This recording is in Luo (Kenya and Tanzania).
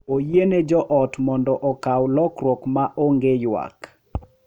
Oyiene joot mondo okaw lokruok maonge ywak.